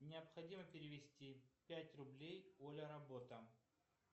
необходимо перевести пять рублей оля работа